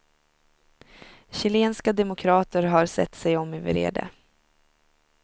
Chilenska demokrater har sett sig om i vrede.